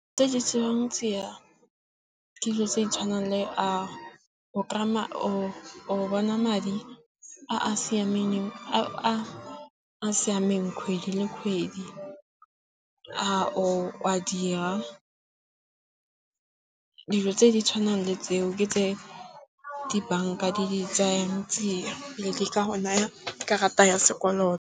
Tse di dilo tse di tshwanang le a o bona madi a a siameng kgwedi le kgwedi, a o a dira. Dilo tse di tshwanang le tseo ke tse di banka di tsayang tsia pele di ka go naya karata ya sekoloto.